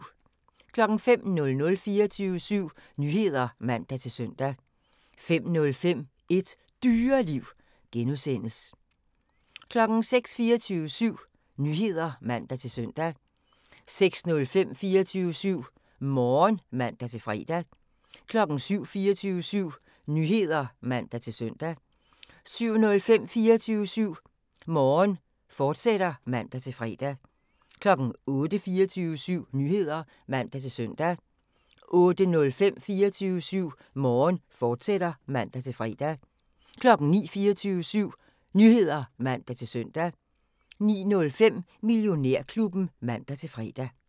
05:00: 24syv Nyheder (man-søn) 05:05: Et Dyreliv (G) 06:00: 24syv Nyheder (man-søn) 06:05: 24syv Morgen (man-fre) 07:00: 24syv Nyheder (man-søn) 07:05: 24syv Morgen, fortsat (man-fre) 08:00: 24syv Nyheder (man-søn) 08:05: 24syv Morgen, fortsat (man-fre) 09:00: 24syv Nyheder (man-søn) 09:05: Millionærklubben (man-fre)